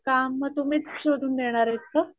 काम म तुम्हीच शोधून देणारेत का?